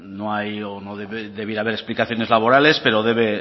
no hay o no debía de haber explicaciones laborales pero debe